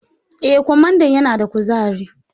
Eh, kwamandan yana da kuzari.